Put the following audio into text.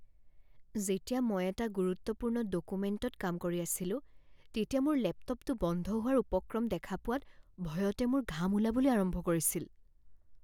যেতিয়া মই এটা গুৰুত্বপূৰ্ণ ডকুমেন্টত কাম কৰি আছিলোঁ তেতিয়া মোৰ লেপটপটো বন্ধ হোৱাৰ উপক্ৰম দেখা পোৱাত ভয়তে মোৰ ঘাম ওলাবলৈ আৰম্ভ কৰিছিল।